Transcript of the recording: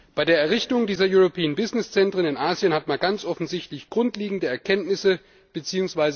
Bei der Errichtung dieser European Business Centres in Asien hat man ganz offensichtlich grundlegende Erkenntnisse bzw.